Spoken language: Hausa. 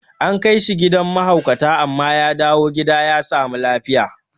An kaishe gidan ma haukata amma ya dawu gida ya samu lafiya